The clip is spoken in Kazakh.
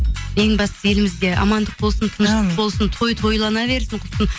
ең бастысы елімізде амандық болсын тыныштық болсын той тойлана берсін құрсын